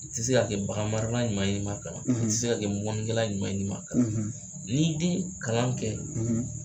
I tɛ se ka kɛ bagan marala ɲuman ye n'i man kalan i tɛ se ka kɛ mɔnni kɛla ɲuman ye n'i man kalan n'i den ye kalan kɛ